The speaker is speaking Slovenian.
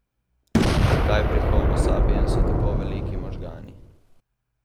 Zakaj pri homo sapiensu tako veliki možgani?